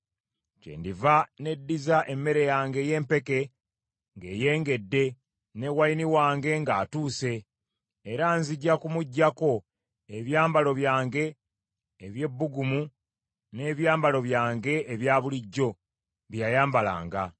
“Kyendiva neddiza emmere yange ey’empeke ng’eyengedde, ne wayini wange ng’atuuse; era nzija kumuggyako ebyambalo byange eby’ebbugumu n’ebyambalo byange ebya bulijjo, bye yayambalanga.